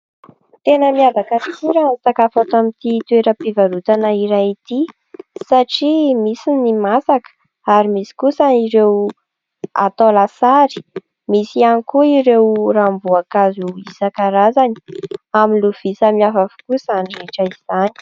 Tena miavaka tokoa raha ny sakafo ato amin'ity toeram-pivarotana iray ity satria misy ny masaka ary misy kosa ireo atao lasary misy ihany koa ireo ranom-boankazo isan-karazany amin'ny lovia samihafa avokoa izany rehetra izany.